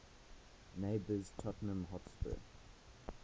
neighbours tottenham hotspur